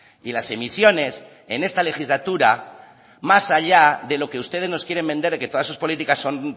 y las emisiones en esta legislatura más allá de lo que ustedes nos quieren vender y que todas sus políticas son